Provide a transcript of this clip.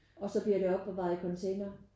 Og så bliver det opbevaret i container?